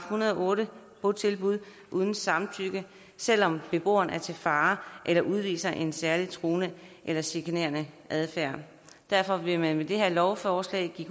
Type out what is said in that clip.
hundrede og otte botilbud uden samtykke selv om beboeren er til fare eller udviser en særlig truende eller chikanerende adfærd derfor vil man med det her lovforslag give